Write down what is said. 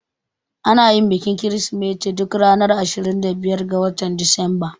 Anayin bikin kirismeti duk ranar 25 ga watan Disamba